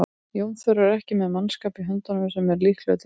Jón Þór er ekki með mannskap í höndunum sem er líklegur til afreka.